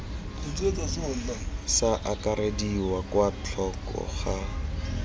sa akarediwa kwa thoko ga